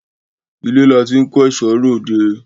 Ilé la ti ń kẹ́ṣọ̀ọ́ ròde.